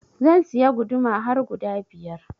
Zan siya guduma har guda biyar.